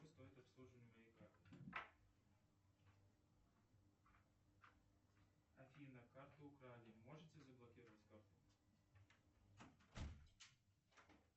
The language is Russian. сколько стоит обслуживание моей карты афина карту украли можете заблокировать карту